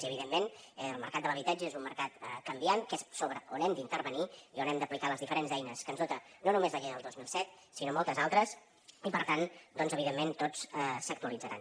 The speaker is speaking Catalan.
i evidentment el mercat de l’habitatge és un mercat canviant que és sobre on hem d’intervenir i on hem d’aplicar les diferents eines que ens dota no només la llei del dos mil set sinó moltes altres i per tant doncs evidentment totes s’actualitzaran